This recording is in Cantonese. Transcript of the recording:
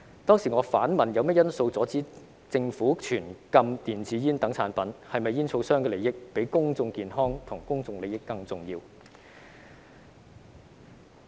當時我反問有甚麼因素阻止政府全禁電子煙等產品，是否煙草商的利益比公眾健康和公眾利益更重要。